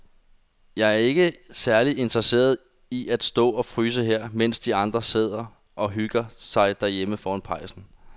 Jeg er ikke særlig interesseret i at stå og fryse her, mens de andre sidder og hygger sig derhjemme foran pejsen.